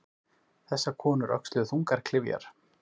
Þessar konur öxluðu þungar klyfjar.